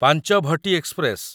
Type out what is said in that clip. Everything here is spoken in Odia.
ପାଞ୍ଚଭଟି ଏକ୍ସପ୍ରେସ